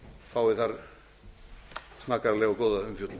fái þar snaggaralega og góða umfjöllun